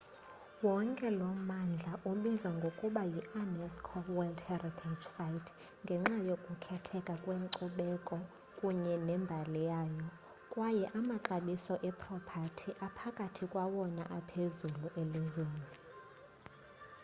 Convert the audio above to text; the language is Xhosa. wonke lo mmandla ubizwa ngokuba yi-unesco world heritage site ngenxa yokukhetheka kwenkcubeko kunye nembali yayo kwaye amaxabiso epropathi aphakathi kwawona aphezulu elizweni